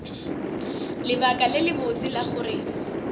lebaka le lebotse la gore